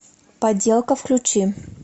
подделка включи